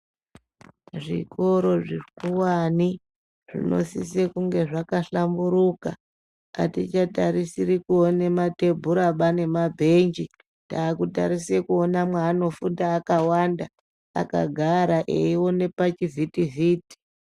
Zvikoro zvikuwani zvinosise kunge zvakahlamburuka atichatarisiri kuona matebhuraba nemabhenji takutarise kuona mwaanofunda akawanda akagara eiona pachivhiti vhiti.